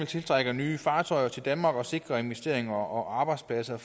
tiltrække nye fartøjer til danmark og sikre investeringer og arbejdspladser